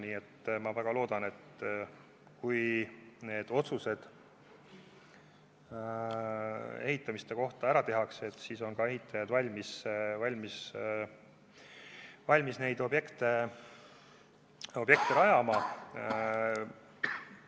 Nii et ma väga loodan, et kui ehitusotsused ära tehakse, siis on ehitajad valmis neid objekte ka rajama.